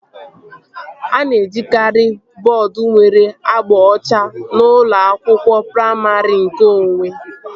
A na-ejikari bọọdu nwere agba ọcha n'ụlọ akwụkwọ praimarị nkeonwe